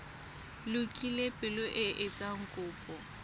lokile pele o etsa kopo